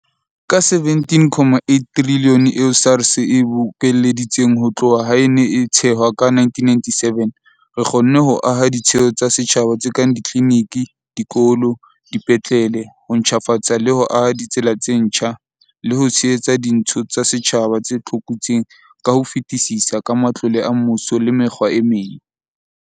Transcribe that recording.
Ka R17.8 trilione eo SARS e bokeleditseng ho tloha ha e ne e thehwa ka 1997, re kgonne ho aha ditheo tsa setjhaba tse kang ditliniki, dikolo, dipetlele, ho ntjhafatsa le ho aha ditsela tse ntjha, le ho tshehetsa ditho tsa setjhaba tse tlokotsing ka ho fetisisa ka matlole a mmuso le mekgwa e meng.